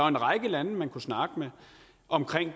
en række lande man kunne snakke med om